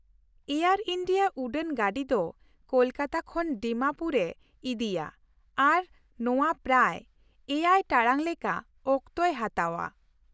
Air India ᱩᱰᱟᱹᱱ ᱜᱟᱰᱤ ᱫᱚ ᱠᱳᱞᱠᱟᱛᱟ ᱠᱷᱚᱱ ᱰᱤᱢᱟᱯᱩᱨᱮ ᱤᱫᱤᱭᱟ ᱟᱨ ᱱᱚᱶᱟ ᱯᱨᱟᱭ ᱗ ᱴᱟᱲᱟᱝ ᱞᱮᱠᱟ ᱚᱠᱛᱚᱭ ᱦᱟᱛᱟᱣᱼᱟ ᱾